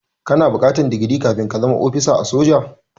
Kana buƙatar digiri kafin ka zama ofisa a soji.